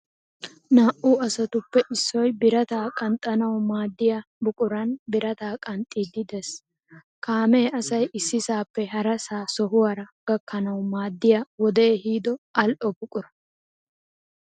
Naa"u asatuppe issoy birataa qanxxanawu maadiya buquran birataa qanxxiiddi dees. Kaamee asay issisaappe harasaa sohuwaara gakkanawu maddiya wode ehido al"o buquran.